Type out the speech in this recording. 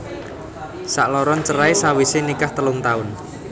Sakloron cerai sawisé nikah telung taun